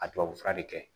A tubabu fura de kɛ